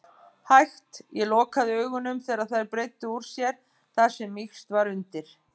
hægt. ég lokaði augunum þegar þær breiddu úr sér þar sem mýkst var undir.